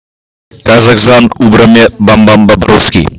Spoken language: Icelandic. Kannski er einhver að stríða þér sagði Tóti.